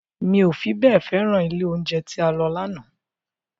Mi ò fi bẹ́ẹ̀ féràn ilé oúnjẹ tí a lọ lánàá